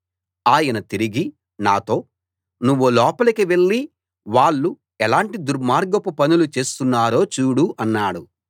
ఆయన తిరిగి నాతో నువ్వు లోపలికి వెళ్ళి వాళ్ళు ఎలాంటి దుర్మార్గపు పనులు చేస్తున్నారో చూడు అన్నాడు